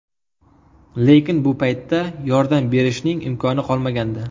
Lekin bu paytda yordam berishning imkoni qolmagandi.